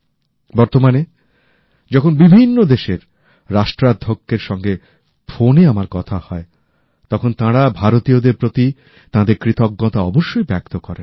বর্তমানে যখন বিভিন্ন দেশের রাষ্ট্রাধ্যক্ষের সঙ্গে ফোনে আমার কথা হয় তখন তাঁরা ভারতীয়দের প্রতি তাঁদের কৃতজ্ঞতা অবশ্যই ব্যক্ত করেন